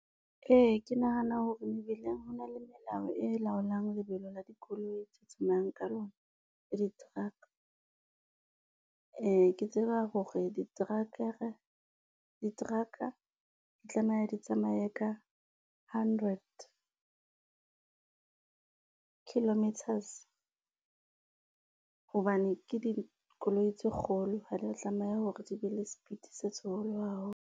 Ee ke nahana hore mebileng hona le melao e laolang lebelo la dikoloi tse tsamayang ka lona le diteraka. Ee ke tseba hore diteraka di tlameha di tsamaye ka hundred, kilometers, hobane ke dikoloi tse kgolo ha dia tlameha hore di be le speed se seholo haholo.